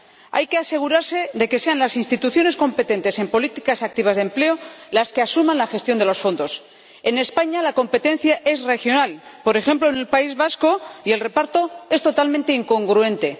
Hay que asegurarse de que sean las instituciones competentes en políticas activas de empleo las que asuman la gestión de los fondos. En España, la competencia es regional, —por ejemplo, en el País Vasco— y el reparto es totalmente incongruente.